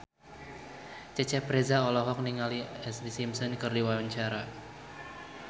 Cecep Reza olohok ningali Ashlee Simpson keur diwawancara